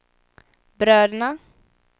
bröderna